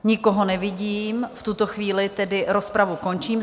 Nikoho nevidím, v tuto chvíli tedy rozpravu končím.